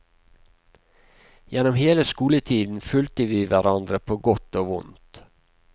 Gjennom hele skoletiden fulgte vi hverandre på godt og vondt.